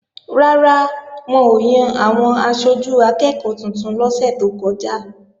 Rárá, wọn ò yan àwọn aṣojú akẹ́ẹ̀kọ́ tuntun lọ́sẹ̀ tó kọjá